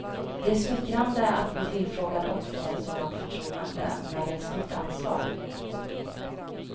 Det är smickrande att bli tillfrågad och få ett sådant förtroende men ett stort ansvar.